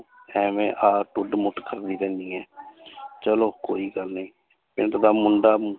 ਇਵੇਂ ਆਹ ਢੁੱਡ ਮੁੱਠ ਕਰਦੀ ਰਹਿੰਦੀ ਹੈ ਚਲੋ ਕੋਈ ਗੱਲ ਨੀ ਪਿੰਡ ਦਾ ਮੁੰਡਾ,